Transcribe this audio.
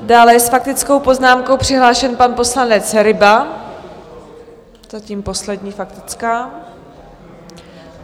Dále je s faktickou poznámkou přihlášen pan poslanec Ryba, zatím poslední faktická.